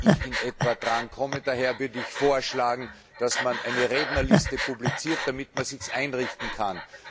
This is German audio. wann ich in etwa drankomme, daher würde ich vorschlagen, dass man eine Rednerliste publiziert, damit man es sich einrichten kann.